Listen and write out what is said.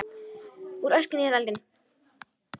Úr öskunni í eldinn